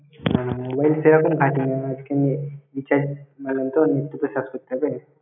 না না mobile সেরকম ঘাটিনা, youtube এ search করতে হবে।